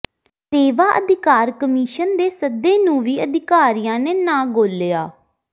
ਸੇਵਾ ਅਧਿਕਾਰ ਕਮਿਸ਼ਨ ਦੇ ਸੱਦੇ ਨੂੰ ਵੀ ਅਧਿਕਾਰੀਆਂ ਨੇ ਨਾ ਗੌਲਿਆ